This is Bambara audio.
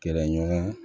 Kɛlɛɲɔgɔn